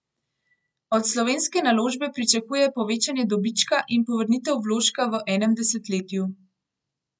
Od slovenske naložbe pričakuje povečanje dobička in povrnitev vložka v enem desetletju.